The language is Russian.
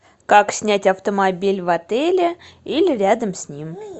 как снять автомобиль в отеле или рядом с ним